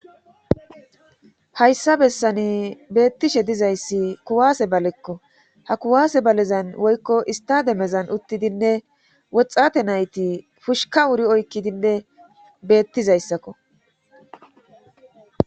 Hayssa bessani beettishe dizayssi kuwaase balekko ha kuwaase balezan woykko ista demezan uttidinne woxxate nayti pushika wuri oykkidinne beettizayssakko